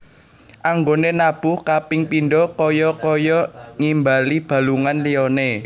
Anggoné nabuh kaping pindho kaya kaya ngimbali balungan liyané